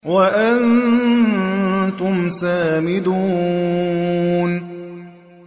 وَأَنتُمْ سَامِدُونَ